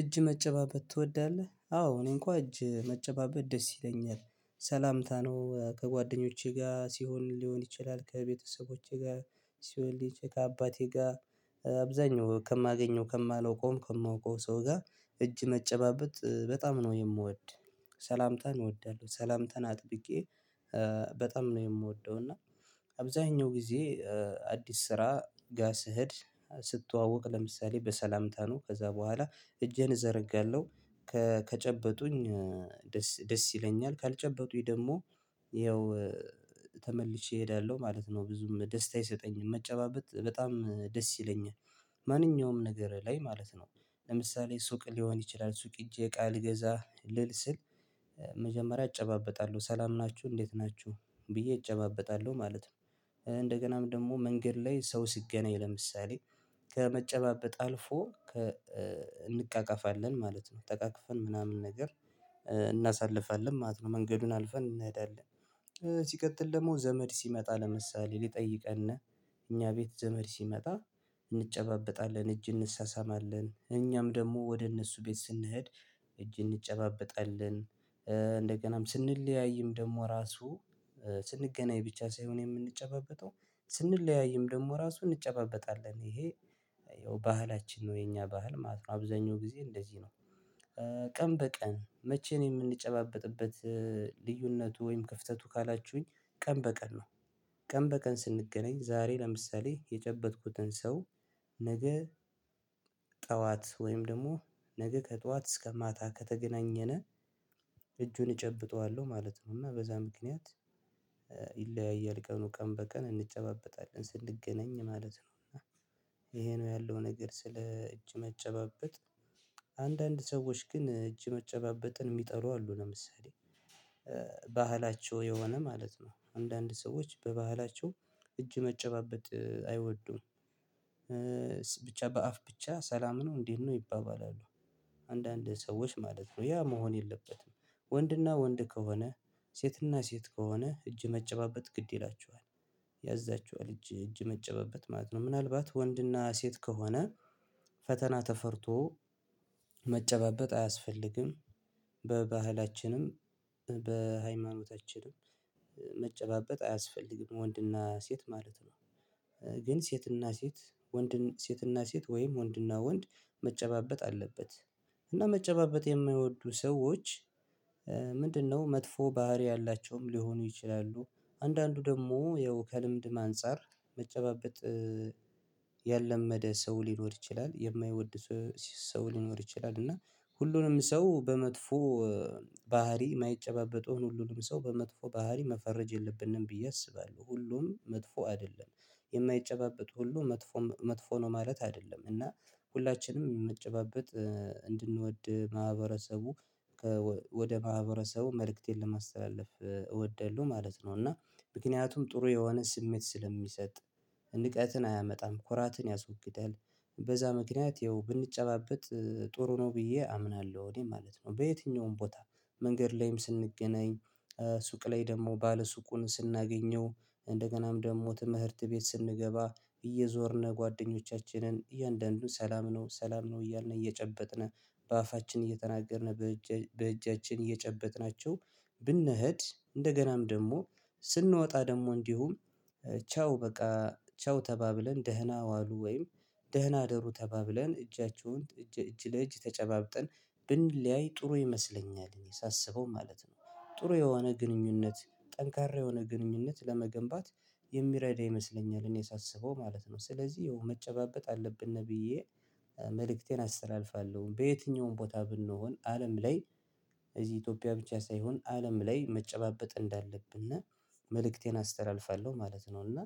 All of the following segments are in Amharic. እጅ መጨባበጥ ትወዳለህ? አዎ እኔ እንኳን እጅ መጨባበጥ ደስ ይለኛል ሰላምታ ነው ከጓደኞቼ ጋር ሲሆን ሊሆን ይችላል ከቤተሰቦቼ ጋር ሲሆን ሊች ከአባቴ ጋር አብዛኛው ከማገኘው ከማላውቀውም ከማውቀው ሰው ጋር እጅ መጨባበጥ በጣም ነው የምወድ ሰላምታን እወዳለሁ። ሰላምተን አጥብቄ በጣም ነው የምወደው እና አብዛኛው ጊዜ አዲስ ስራ ጋ ስሄድ ስትዋወቅ ለምሳሌ በሰላምታ ነው ከዛ በኋላ እጄን እዘረጋለሁ ከጨበጡኝ ደስ ይለኛል ካልጨበጡኝ ደግሞ ይኸው ተመልሼ እሄዳለሁ ማለት ነው ብዙም ደስታ ይሰጠኝ መጨባበጥ በጣም ደስ ይለኛል። ማንኛውም ነገር ላይ ማለት ነው ለምሳሌ ሱቅ ሊሆን ይችላል ሱቅ እጄ ቃል ገዛ ልል ስል መጀመሪያ እጨባበጣለሁ ሰላም ናችሁ እንዴት ናችሁ ብዬ እጨባበጣለሁ ማለት ነው። እንደገናም ደግሞ መንገድ ላይ ሰው ሲገናኝ ለምሳሌ ከመጨባበጥ አልፎ እንቃቃፋለን ማለት ነው ጠቃቅፈን ምናምን ነገር እናሳልፋለን ማለት ነው መንገዱን አልፈን እንሄዳለን። ሲቀጥል ደግሞ ዘመድ ሲመጣ ለምሳሌ ሊጠይቀን እኛ ቤት ዘመድ ሲመጣ እንጨባበጣለን እጅ እንሳሳማለን እኛም ደግሞ ወደ እነሱ ቤት ስንሄድ እጅ እንጨባበጣለን። አ እንደገናም ስንለያይም ደግሞ ራሱ ስንገናኝ ብቻ ሳይሆን የምንጨባበጠው ስንለያይም ደግሞ ራሱን እንጨባበጣለን ይሄ ያው ባህላችን ነው የኛ ባህል ማለት ነው አብዛኛው ጊዜ እንደዚህ ነው። ቀን በቀን መቼን የምንጨባበጥበት ልዩነቱ ወይም ክፍተቱ ካላችሁኝ ቀን በቀን ነው ቀን በቀን ስንገናኝ ዛሬ ለምሳሌ የጨበጥኩትን ሰው ነገ ጠዋት ወይም ደግሞ ነገ ከጠዋት እስከ ማታ ከተገናኘነ እጁን እጨብጠዋለሁ ማለት ነው። እና በዛ ምክንያት ይለያያል ቀኑ ቀን በቀን እንጨባበጣለን ስንገናኝ ማለት ነው እና ይሄ ነው ያለው ነገር ስለ እጅ መጨባበጥ። አንዳንድ ሰዎች ግን እጅ መጨባበጥን የሚጠሉ አሉ ለምሳሌ ባህላቸው የሆነ ማለት ነው አንዳንድ ሰዎች በባህላቸው እጅ መጨባበጥ አይወዱም። ብቻ በአፍ ብቻ ሰላም ነው እንዴት ነው ይባባላሉ አንዳንድ ሰዎች ማለት ነው ያ መሆን የለበትም። ወንድና ወንድ ከሆነ ሴትና ሴት ከሆነ እጅ መጨባበጥ ግድ ይላችኋል ያዛችኋል እጅ እጅ መጨባበጥ ማለት ነው ምናልባት ወንድና ሴት ከሆነ ፈተና ተፈርቶ መጨባበጥ አያስፈልግም። በባህላችንም በሃይማኖታችንም መጨባበጥ አያስፈልግም ወንድና ሴት ማለት ነው። ግን ሴትና ሴት ወንድን ሴትና ሴት ወይም ወንድና ወንድ መጨባበጥ አለበት። እና መጨባበጥ የማይወዱ ሰዎች ምንድነው መጥፎ ባህሪ ያላቸውም ሊሆኑ ይችላሉ? አንዳንዱ ደግሞ የው ከልምድም አንፃር መጨባበጥ ያላመደ ሰው ሊኖር ይችላል የማይወድ ሰው ሊኖር ይችላል እና ሁሉንም ሰው በመጥፎ ባህሪ የማይጨባበጠውን ሁሉንም ሰው በመጥፎ ባህሪ መፈረጅ የለብንም ብዬ አስባለሁ። ሁሉም መጥፎ አይደለም የማይጨባበጥ ሁሉ መጥፎ መጥፎ ነው ማለት አይደለም እና ሁላችንም የምትጨባበጥ እንድንወድ ማህበረሰቡ ወደ ማህበረሰቡ መልእክቴን ለማስተላለፍ እወደዳለሁ ማለት ነው። እና ምክንያቱም ጥሩ የሆነ ስሜት ስለሚሰጥ ንቀትን አያመጣም ኮራትን ያስወግዳል በዛ ምክንያት ይኸው ብንጨባበጥ ጥሩ ነው ብዬ አምናለሁ እኔ ማለት ነው። በየትኛውም ቦታ መንገድ ላይም ስንገናኝ ሱቅ ላይ ደግሞ ባለ ሱቁን ስናገኘው እንደገናም ደግሞ ትምህርት ቤት ስንገባ እየዞርን ጓደኞቻችንን እያንዳንዱን ሰላም ነው ሰላም ነው እያልን እየጨበጥን በአፋችን እየተናገርን በእጃችን እየጨበጥናቸው ብንሄድ እንደገናም ደግሞ ስንወጣ ደግሞ እንዲሁም ቻው በቃ ቻው ተባብለን ደህና ዋሉ ወይም ደህና ደሩ ተባብለን እጃቸውን እጅ እጅ ለእጅ ተጨባብጠን ብንለያይ ጥሩ ይመስለኛል እኔ ሳስበው ማለት ነው። ጥሩ የሆነ ግንኙነት ጠንካራ የሆነ ግንኙነት ለመገንባት የሚረዳ ይመስለኛል እኔ ሳስበው ማለት ነው። ስለዚህ ይሄው መጨባበጥ አለብን ነብዬ መልእክቴን አስተላልፋለሁ በየትኛውም ቦታ ብንሆን አለም ላይ እዚህ ኢትዮጵያ ብቻ ሳይሆን አለም ላይ መጨባበጥ እንዳለብን እና መልእክቴን አስተራልፋለሁ ማለት ነው። እና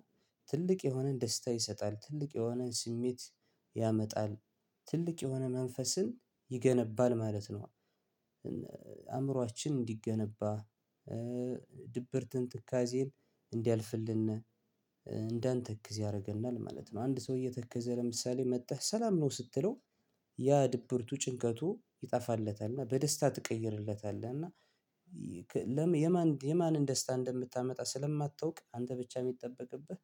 ትልቅ የሆነን ደስታ ይሰጣል ትልቅ የሆነ ስሜት ያመጣል ትልቅ የሆነ መንፈስን ይገነባል ማለት ነው። አእምሮአችን እንዲገነባ ድብርትን ትካዜን እንዲያልፍልን እንዳንተክዝ ያደርገናል ማለት ነው። አንድ ሰው እየተከዘ ለምሳሌ መጥተህ ሰላም ነው ስትለው ያ ድብርቱ ጭንቀቱ ይጠፋለታል እና በደስታ ትቀይርለታለህ እና የማን የማን ደስታ እንደምታመጣ ስለማታውቅ አንተ ብቻ የሚጠበቅብህ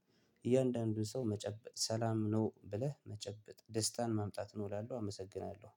እያንዳንዱን ሰው መጨበጥ ሰላም ነው ብለህ መጨበጥ ደስታን ማምጣት ነው እላለሁ አመሰግናለሁ።